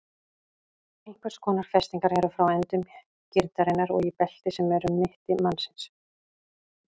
Einhvers konar festingar eru frá endum grindarinnar og í belti sem er um mitti mannsins.